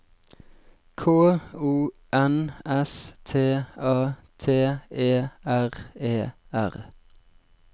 K O N S T A T E R E R